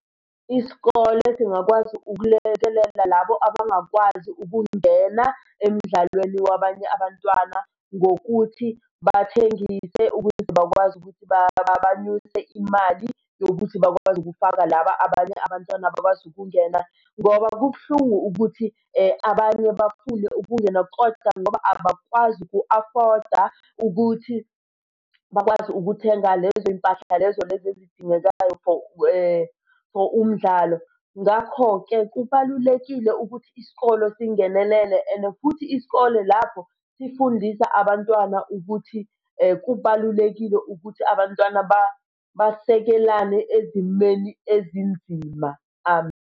Isikole singakwazi ukulekelela labo abangakwazi ukungena emdlalweni wabanye abantwana ngokuthi bathengise ukuze bakwazi ukuthi banyuse imali yokuthi bakwazi ukufaka laba abanye abantwana abakwazi ukungena. Ngoba kubuhlungu ukuthi abanye bafune ukungena koda ngoba abakwazi uku-afford-a ukuthi bakwazi ukuthenga lezo y'mpahla lezo lezi ezidingekayo. For for umdlalo. Ngakho-ke kubalulekile ukuthi isikole singenelele and-e futhi isikole lapho sifundisa abantwana ukuthi kubalulekile ukuthi abantwana basekelane ezimeni ezinzima.